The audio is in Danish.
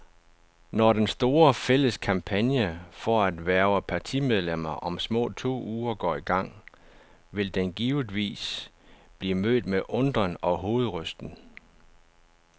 Når den store, fælles kampagne for at hverve partimedlemmer om små to uger går i gang, vil den givetvis blive mødt med undren og hovedrysten.